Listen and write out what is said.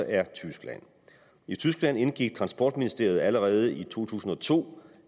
er tyskland i tyskland indgik transportministeriet allerede i to tusind og to